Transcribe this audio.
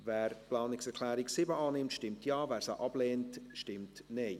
Wer die Planungserklärung 7 der SiK annehmen will, stimmt Ja, wer diese ablehnt, stimmt Nein.